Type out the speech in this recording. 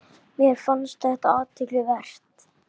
Mér fannst þetta athygli vert.